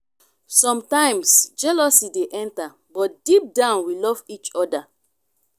sometimes jealousy dey enter but deep down we love each oda.